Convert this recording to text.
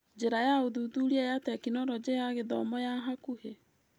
Njĩra ya ũthuthuria ya Tekinoronjĩ ya gũthoma ya hakũhĩ.